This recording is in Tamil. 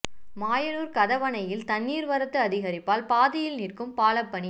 மாயனூர் கதவணையில் தண்ணீர் வரத்து அதிகரிப்பால் பாதியில் நிற்கும் பால பணி